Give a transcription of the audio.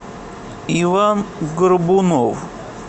иван горбунов